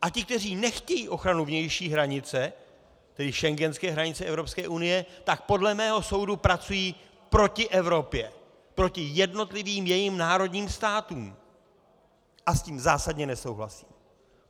A ti, kteří nechtějí ochranu vnější hranice, tedy schengenské hranice Evropské unie, tak podle mého soudu pracují proti Evropě, proti jednotlivým jejím národním státům a s tím zásadně nesouhlasím.